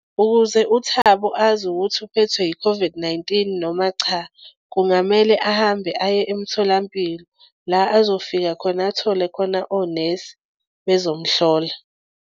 Ukuze uThabo azi ukuthi uphethwe i-COVID-19 noma cha kungamele ahambe aye emtholampilo la azofika khona athole khona onesi bezomhlola.